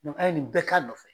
a ye nin bɛɛ k'a nɔfɛ.